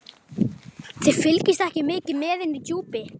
Þið fylgist ekki mikið með inni í Djúpi.